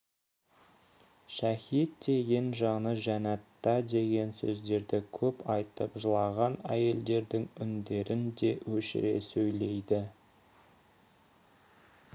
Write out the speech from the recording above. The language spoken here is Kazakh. шәһит деген жаны жәннатта деген сөздерді көп айтып жылаған әйелдердің үндерін де өшіре сөйлейді